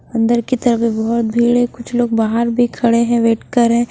अंदर की तरफ भी बहुत भीड़ है कुछ लोग बाहर भी खड़े हैं वेट कर रहे हैं।